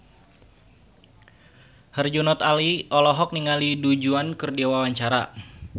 Herjunot Ali olohok ningali Du Juan keur diwawancara